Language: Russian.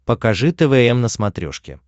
покажи твм на смотрешке